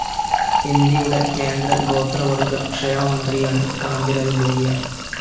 ഇന്ത്യയുടെ കേന്ദ്ര ഗോത്രവർഗ്ഗ ക്ഷേമ മന്ത്രിയാണ് കാന്തിലാൽ ഭുരിയ.